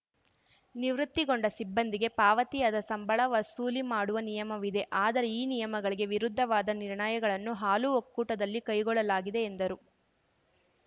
ನಿವೃತ್ತಿಗೊಂಡ ಸಿಬ್ಬಂದಿಗೆ ಪಾವತಿಯಾದ ಸಂಬಳ ವಸೂಲಿ ಮಾಡುವ ನಿಯಮವಿದೆ ಆದರೆ ಈ ನಿಯಮಗಳಿಗೆ ವಿರುದ್ಧವಾದ ನಿರ್ಣಯಗಳನ್ನು ಹಾಲು ಒಕ್ಕೂಟದಲ್ಲಿ ಕೈಗೊಳ್ಳಲಾಗಿದೆ ಎಂದರು